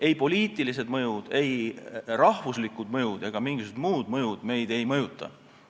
Ei poliitilised mõjud, ei rahvuslikud mõjud ega mingisugused muud mõjud meid ei mõjuta.